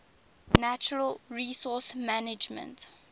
natural resource management